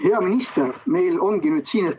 Hea minister!